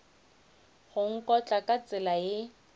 go nkotla ka tsela ye